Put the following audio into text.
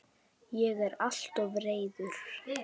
Ég er alltof reiður.